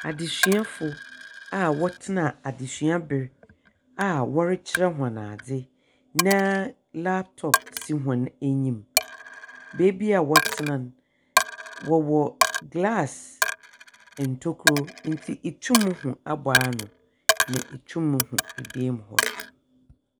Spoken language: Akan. Adzesuafo a wɔtsena adzesuabea a wɔrekyerɛ hɔn adze na laptop si hɔn enyim. Beebi a wɔtena no, wɔwɔ glass ntokua, ntsi itum hu aboano. Na itu hu dan mu hɔ nso.